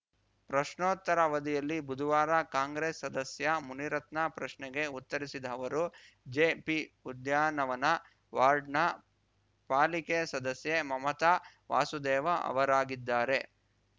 ಪ್ರಶ್ನೋತ್ತರ ಅವಧಿಯಲ್ಲಿ ಬುದುವಾರ ಕಾಂಗ್ರೆಸ್‌ ಸದಸ್ಯ ಮುನಿರತ್ನ ಪ್ರಶ್ನೆಗೆ ಉತ್ತರಿಸಿದ ಅವರು ಜೆಪಿಉದ್ಯಾನವನ ವಾರ್ಡ್‌ನ ಪಾಲಿಕೆ ಸದಸ್ಯೆ ಮಮತಾ ವಾಸುದೇವ ಅವರಾಗಿದ್ದಾರೆ